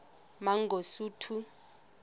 mangosuthu